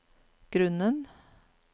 grunnen